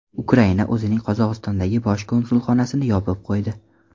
Ukraina o‘zining Qozog‘istondagi bosh konsulxonasini yopib qo‘ydi.